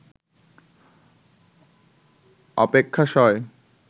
অপেক্ষা সয়